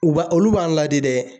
U b'a ,olu b'an ladi dɛ